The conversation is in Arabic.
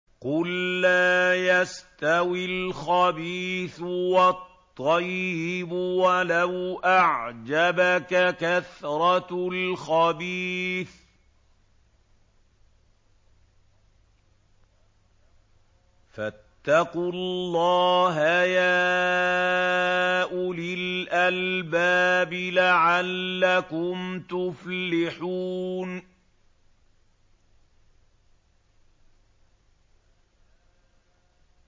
قُل لَّا يَسْتَوِي الْخَبِيثُ وَالطَّيِّبُ وَلَوْ أَعْجَبَكَ كَثْرَةُ الْخَبِيثِ ۚ فَاتَّقُوا اللَّهَ يَا أُولِي الْأَلْبَابِ لَعَلَّكُمْ تُفْلِحُونَ